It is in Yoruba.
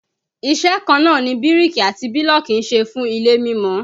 Iṣẹ́ kan náà ni bíríkì àti bílọ̀kì ń ṣe fún ilé mímọ